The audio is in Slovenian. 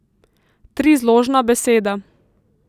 Trizložna beseda.